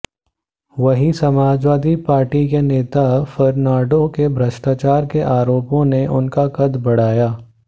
वहीं समाजवादी पार्टी के नेता फर्नांडो के भ्रष्टाचार के आरोपों ने उनका कद बढ़ाया